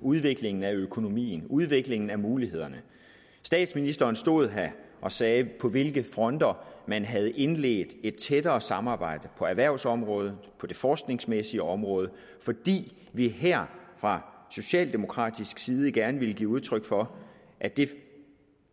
udviklingen af økonomien udviklingen af mulighederne og statsministeren stod her og sagde på hvilke fronter man havde indledt et tættere samarbejde på erhvervsområdet på det forskningsmæssige område fordi vi her fra socialdemokratisk side gerne ville give udtryk for at det